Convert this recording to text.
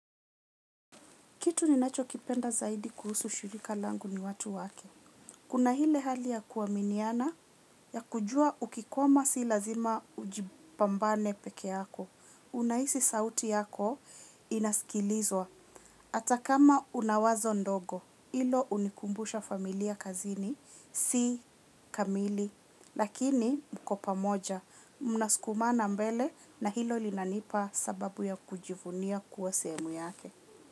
Kitu ninacho kipenda zaidi kuhusu shirika langu ni watu wake. Kuna ile hali ya kuaminiana ya kujua ukikwama si lazima ujipambane peke yako. Unahisi sauti yako inasikilizwa hata kama unawazo ndogo hilo hunikumbusha familia kazini si kamili lakini mko pamoja. Mnaskumana mbele na hilo linanipa sababu ya kujivunia kuwa sehemu yake.